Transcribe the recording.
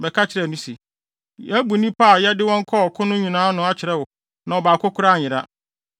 bɛka kyerɛɛ no se, “Yɛabu nnipa a yɛde wɔn kɔɔ ɔko no nyinaa ano akyerɛ wo na ɔbaako koraa anyera.